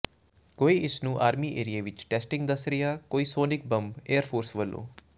ਕੋਈ ਇਸਨੂੰ ਆਰਮੀ ਏਰੀਏ ਵਿਚ ਟੈਸਟਿੰਗ ਦਾਸ ਰਿਹਾ ਕੋਈ ਸੋਨਿਕ ਬੰਬ ਏਅਰ ਫੋਰਸ ਵੱਲੋਂ